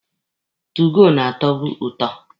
2goo na-atọbụ ụtọ.